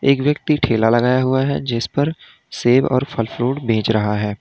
एक व्यक्ति ठेला लगाया हुआ है जिसपर सेव और फल फ्रूट बेच रहा है।